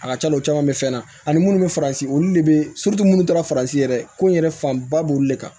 A ka ca la u caman bɛ fɛn na ani munnu bɛ faransi olu de bɛ minnu taara farasi yɛrɛ ko in yɛrɛ fanba b'olu de kan